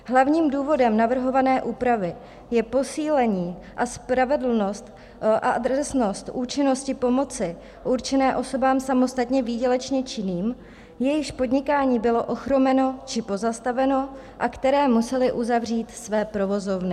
Hlavním důvodem navrhované úpravy je posílení a spravedlnost a adresnost účinnosti pomoci určené osobám samostatně výdělečně činným, jejichž podnikání bylo ochromeno či pozastaveno a které musely uzavřít své provozovny.